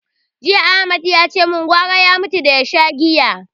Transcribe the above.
Jiya Ahmad yace gwara ya mutu da ya sha giya.